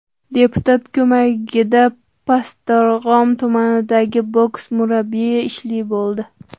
Deputat ko‘magida Pastdarg‘om tumanidagi boks murabbiyi ishli bo‘ldi.